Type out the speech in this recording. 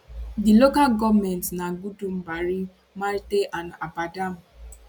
di local goments na gudumbari marte and abadam